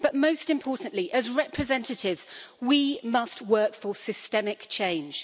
But, most importantly, as representatives, we must work for systemic change.